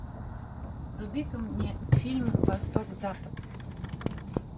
вруби ка мне фильм восток запад